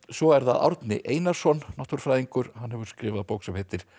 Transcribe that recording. svo er það Árni Einarsson náttúrufræðingur hann hefur skrifað bók sem heitir